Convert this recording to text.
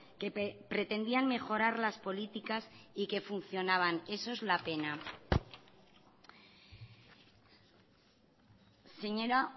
que pretendían mejorar las políticas y que funcionaban eso es la pena señora